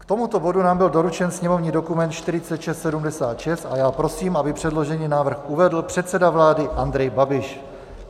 K tomuto bodu nám byl doručen sněmovní dokument 4676 a já prosím, aby předložený návrh uvedl předseda vlády Andrej Babiš.